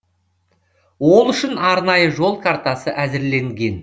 ол үшін арнайы жол картасы әзірленген